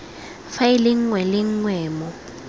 faele nngwe le nngwe mo